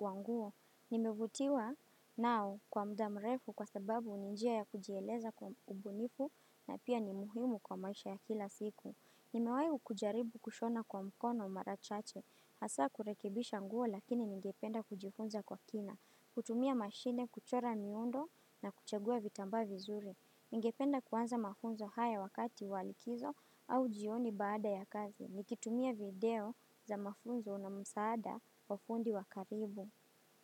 wa nguo. Nimevutiwa nao kwa muda mrefu kwa sababu ni njia ya kujieleza kwa ubunifu na pia ni muhimu kwa maisha ya kila siku. Nimewahi kujaribu kushona kwa mkono mara chache. Hasa kurekebisha nguo lakini ningependa kujifunza kwa kina. Kutumia mashine, kuchora miundo na kuchagua vitambaa vizuri. Ningependa kuanza mafunzo hayo wakati wa likizo au jioni baada ya kazi. Nikitumia video za mafunzo na msaada wa fundi wa karibu.